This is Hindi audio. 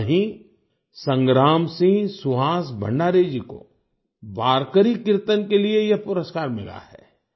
वहीँ संग्राम सिंह सुहास भंडारे जी को वारकरी कीर्तन के लिए यह पुरस्कार मिला है